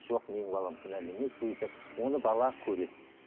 жоқ менің балам кінәлі емес деген сияқты оны бала көреді